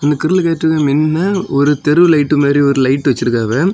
இந்த கிரில் கேட்டுக்கு மின்னெ ஒரு தெரு லைட்டு மாதிரி ஒரு லைட் வச்சிருக்காவ.